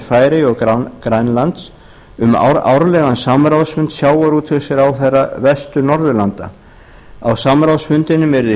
færeyja og grænlands um árlegan samráðsfund sjávarútvegsráðherra vestur norðurlanda á samráðsfundunum yrði